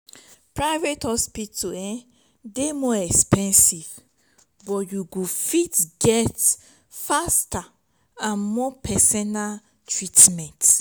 private hospital dey more expensive but you go fit get faster and more personal treatment